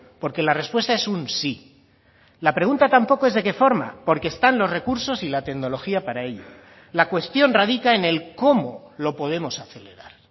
porque la respuesta es un sí la pregunta tampoco es de qué forma porque están los recursos y la tecnología para ello la cuestión radica en el cómo lo podemos acelerar